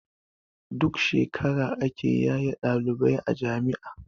Duk shekara ake yaye ɗalibai a jami'a